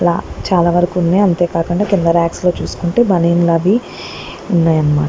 ఇలా చాలా వరకు ఉన్నాయి అంతేకాకుండా కింద రాక్స్ లో చూసుకుంటే బనీన్ లు అవి ఉన్నాయి అన్న మాట.